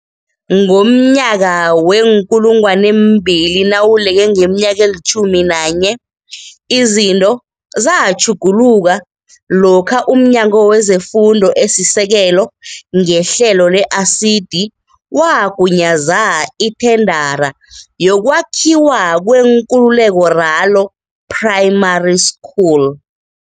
Ngomnyaka wee-2014, izinto zatjhuguluka lokha umNyango wezeFundo esiSekelo, ngehlelo le-ASIDI, wagunyaza ithendara yokwakhiwa kweNkululeko Ralo Primary School.